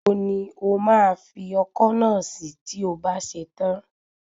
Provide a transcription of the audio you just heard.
Níbo ni o máa fi ọkọ́ náà sí tí o bá ṣe tán?